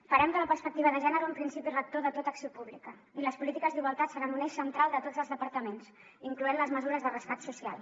farem de la perspectiva de gènere un principi rector de tota acció pública i les polítiques d’igualtat seran un eix central de tots els departaments incloent hi les mesures de rescat social